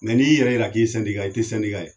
mɛ n'i yɛrɛ yira k'i ye sɛndika ye i tɛ sɛndika ye